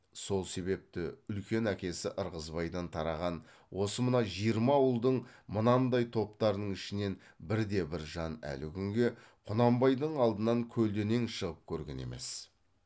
сол себепті үлкен әкесі ырғызбайдан тараған осы мына жиырма ауылдың мынандай топтарының ішінен бірде бір жан әлі күнге құнанбайдың алдынан көлденең шығып көрген емес